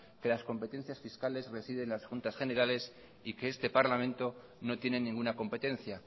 que las competencias fiscales residen en las juntas generales y que este parlamento no tiene ninguna competencia